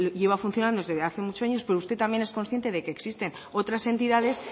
lleva funcionando desde hace muchos años pero usted también es consciente de que existen otras entidades